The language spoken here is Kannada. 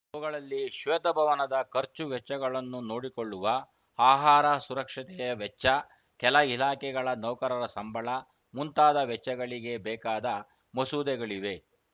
ಅವುಗಳಲ್ಲಿ ಶ್ವೇತಭವನದ ಖರ್ಚು ವೆಚ್ಚಗಳನ್ನು ನೋಡಿಕೊಳ್ಳುವ ಆಹಾರ ಸುರಕ್ಷತೆಯ ವೆಚ್ಚ ಕೆಲ ಇಲಾಖೆಗಳ ನೌಕರರ ಸಂಬಳ ಮುಂತಾದ ವೆಚ್ಚಗಳಿಗೆ ಬೇಕಾದ ಮಸೂದೆಗಳಿವೆ